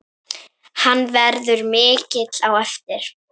Hann verður mikill á eftir.